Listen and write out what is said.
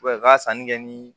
u ka sanni kɛ ni